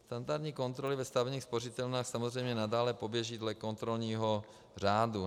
Standardní kontroly ve stavebních spořitelnách samozřejmě nadále poběží dle kontrolního řádu.